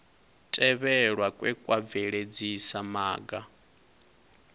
tevhelwa kwe kwa bveledzisa maga